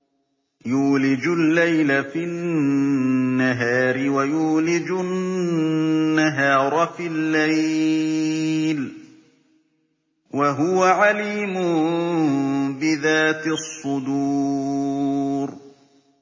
يُولِجُ اللَّيْلَ فِي النَّهَارِ وَيُولِجُ النَّهَارَ فِي اللَّيْلِ ۚ وَهُوَ عَلِيمٌ بِذَاتِ الصُّدُورِ